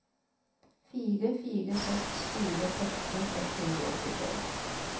fire fire seks fire tretten ett hundre og åttitre